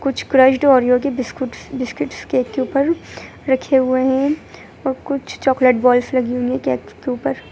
कुछ crushed Oreo के biscuits biscuits cake के ऊपर रखे हुए है और कुछ चॉकलेट बॉल्स लगी हुई है केक्स के ऊपर।